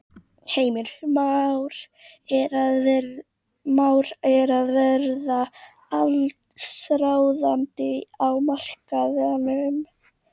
Heimir: Már er að verða allsráðandi á markaðnum?